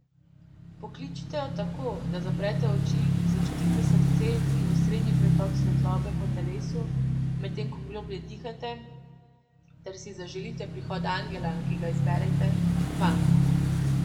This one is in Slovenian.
Pokličite jo tako, da zaprete oči, začutite srce in osrednji pretok Svetlobe po telesu, medtem ko globlje dihate, ter si zaželite prihod angela, ki ga izberete, k vam.